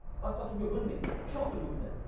басқа түрге бөлінбейді үш ақ түрге бөлінеді